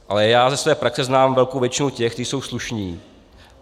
Ale já ze své praxe znám velkou většinu těch, kteří jsou slušní.